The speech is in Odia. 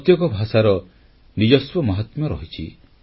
ପ୍ରତ୍ୟେକ ଭାଷାର ନିଜସ୍ୱ ମହାତ୍ମ୍ୟ ରହିଛି